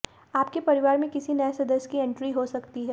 आपके परिवार में किसी नए सदस्य की एंट्री हो सकती है